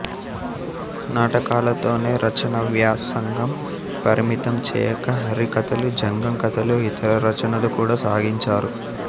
నాటకాలతోనే రచనావ్యాసంగం పరిమితంచేయక హరికథలు జంగం కథలు ఇతర రచనలు కూడా సాగించారు